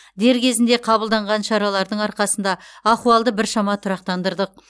дер кезінде қабылданған шаралардың арқасында ахуалды біршама тұрақтандырдық